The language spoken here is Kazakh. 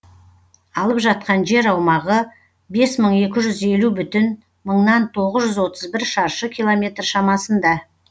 алып жатқан жер аумағы бес мың екі жүз елу бүтін мыңнан тоғыз жүз отыз бір шаршы километр шамасында